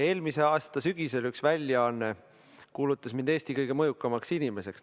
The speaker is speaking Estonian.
Eelmise aasta sügisel üks väljaanne kuulutas mind Eesti kõige mõjukamaks inimeseks.